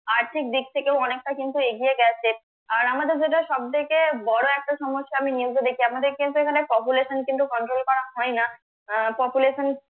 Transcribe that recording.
আর্থিক দিক থেকেও অনেকটা কিন্তু এগিয়ে গেছে আর আমাদের যেটা সবথেকে বড় একটা সমস্যা আমি news এ দেখি, আমাদের কিন্তু এখানে population কিন্তু control করা হয় না আহ population